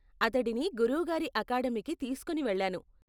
అతడిని గురువు గారి అకాడమీకి తీస్కోని వెళ్లాను.